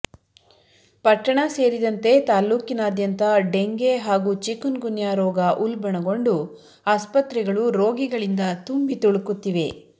ಪಟ್ಟಣ ಸೇರಿದಂತೆ ತಾಲೂಕಿನಾದ್ಯಂತ ಡೆಂಗೆ ಹಾಗೂ ಚಿಕೂನ್ಗುನ್ಯಾ ರೋಗ ಉಲ್ಬಣಗೊಂಡು ಆಸ್ಪತ್ರೆಗಳು ರೋಗಿಗಳಿಂದ ತುಂಬಿ ತುಳುಕುತ್ತಿವೆ